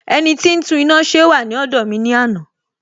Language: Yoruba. Ẹniti ó tún iná ṣe wà ní ọ̀dọ̀ mi ní àná